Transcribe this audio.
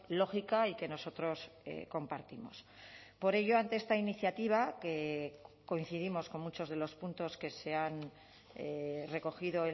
lógica y que nosotros compartimos por ello ante esta iniciativa que coincidimos con muchos de los puntos que se han recogido